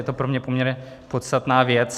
Je to pro mě poměrně podstatná věc.